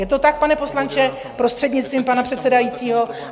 Je to tak, pane poslanče, prostřednictvím pana předsedajícího?